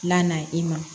La na i ma